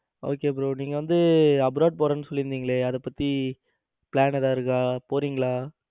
Okay bro நீங்க வந்து abroad போறேன்னு சொல்லி இருந்தீங்களே. அத பத்தி plan எதாவது இருக்கா போறீங்களா?